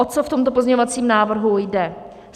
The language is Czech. O co v tomto pozměňovacím návrhu jde.